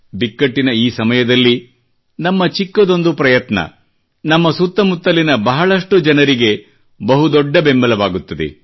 ಬಿಕ್ಕಟ್ಟಿನ ಈ ಸಮಯದಲ್ಲಿ ನಮ್ಮ ಚಿಕ್ಕದೊಂದು ಪ್ರಯತ್ನ ನಮ್ಮ ಸುತ್ತ ಮುತ್ತಲಿನ ಬಹಳಷ್ಟು ಜನರಿಗೆ ಬಹು ದೊಡ್ಡ ಬೆಂಬಲವಾಗುತ್ತದೆ